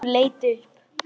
Hún leit upp.